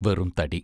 വെറും തടി.